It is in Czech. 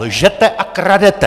Lžete a kradete!